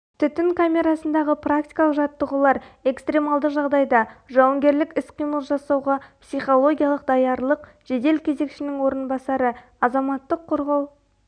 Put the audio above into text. түтін камерасындағы практикалық жаттығулар экстремалды жағдайда жауынгерлік іс-қимыл жасауға психологиялық даярлық жедел кезекшінің орынбасары азаматтық қорғау